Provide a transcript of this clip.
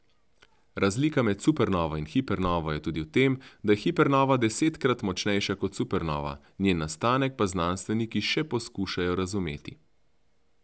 Razlika med supernovo in hipernovo je tudi v tem, da je hipernova desetkrat močnejša kot supernova, njen nastanek pa znanstveniki še poskušajo razumeti.